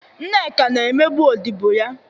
Nneka na-emegbu odibo ya.